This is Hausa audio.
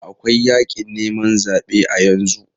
Akwai yakin neman zabe a yanzu.